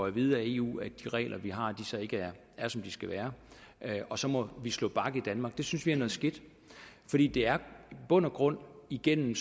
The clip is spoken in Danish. at vide af eu at de regler vi har så ikke er som de skal være og så må vi slå bak i danmark det synes vi er noget skidt fordi det er i bund og grund igennem